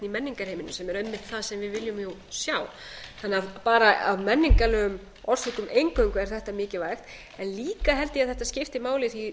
menningarheiminum sem er einmitt það sem við viljum sjá þannig að bara af menningarlegum orsökum eingöngu er þetta mikilvægt en líka held ég að þetta skipti máli því